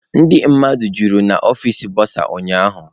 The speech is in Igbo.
Ndị mmadụ jụrụ n'ọfịs bụsa ụnyahụ.